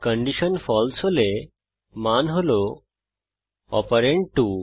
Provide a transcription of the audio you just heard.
condition ফালসে হলে মান হল অপারেন্ড 2